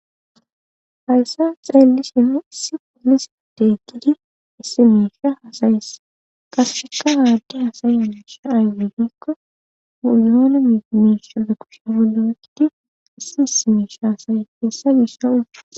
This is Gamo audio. Hayssa xeelishini issi poolisi deeggidi issi miisha hasayesa qaseka haaddi hasayye miisha aywegikko guyoona mimisha pe kusha polo wekidi issi issi meisha hasa'she dossona.